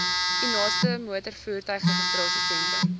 u naaste motorvoertuigregistrasiesentrum